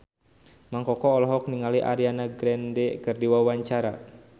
Mang Koko olohok ningali Ariana Grande keur diwawancara